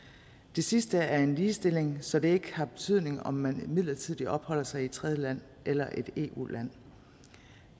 det sidste er en ligestilling så det ikke har betydning om man midlertidigt opholder sig i et tredjeland eller et eu land